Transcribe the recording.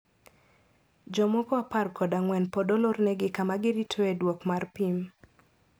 Jomoko apar kod ang`wen pod olornegi kama giritoe duoko mar pim.